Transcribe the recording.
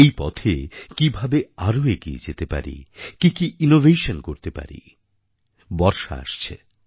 এই পথে কীভাবে আরও এগিয়ে যেতে পারি কী কী ইনোভেশন করতে পারি বর্ষা আসছে